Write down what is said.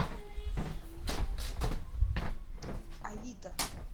авито